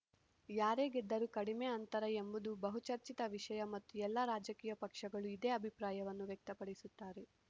ಯಾರೇ ಗೆದ್ದರೂ ಕಡಿಮೆ ಅಂತರ ಎಂಬುದು ಬಹುಚರ್ಚಿತ ವಿಷಯ ಮತ್ತು ಎಲ್ಲ ರಾಜಕೀಯ ಪಕ್ಷಗಳೂ ಇದೇ ಅಭಿಪ್ರಾಯವನ್ನು ವ್ಯಕ್ತಪಡಿಸುತ್ತಾರೆ